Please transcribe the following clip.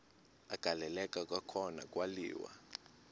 agaleleka kwakhona kwaliwa